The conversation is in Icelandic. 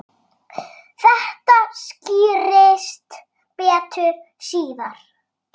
Þetta skýrist betur síðar.